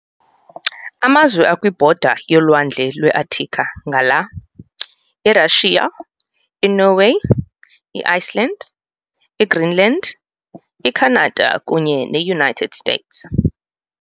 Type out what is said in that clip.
Amazwe akwibhoda yeolwandle lweArctica ngala- iRussia, iNorway, iIceland, iGreenland, iCanada kunye neUnited States.